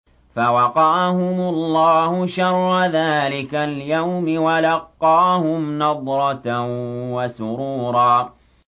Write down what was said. فَوَقَاهُمُ اللَّهُ شَرَّ ذَٰلِكَ الْيَوْمِ وَلَقَّاهُمْ نَضْرَةً وَسُرُورًا